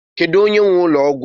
Kedu onye nwe ụlọ ọgwụ a?